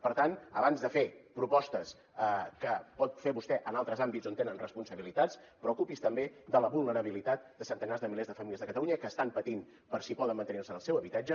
per tant abans de fer propostes que pot fer vostè en altres àmbits on tenen responsabilitats preocupi’s també de la vulnerabilitat de centenars de milers de famílies de catalunya que estan patint per si poden mantenir se en el seu habitatge